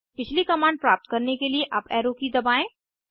पिछली कमांड प्राप्त करने के लिए अप एरो की दबाएं